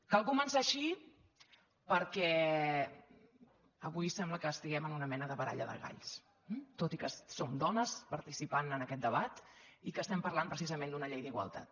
cal començar així perquè avui sembla que estiguem en una mena de baralla de galls tot i que som dones parti·cipant en aquest debat i que estem parlant precisament d’una llei d’igualtat